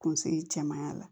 Kunsigi cɛmanya la